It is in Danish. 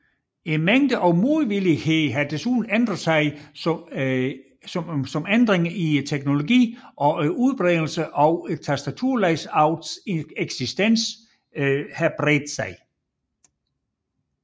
Mængden af modvillighed har desuden ændret sig som ændringer i teknologien og udbredelsen af tastaturlayoutets eksistens har bredt sig